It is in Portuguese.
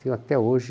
Tenho até hoje